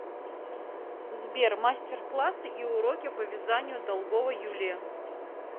сбер мастер классы и уроки по вязанию долгова юлия